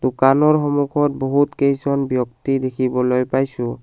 দোকানৰ সন্মুখত বহুত কেইজন ব্যক্তি দেখিবলৈ পাইছোঁ।